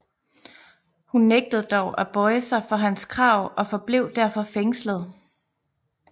Hun nægtede dog at bøje sig for hans krav og forblev derfor fængslet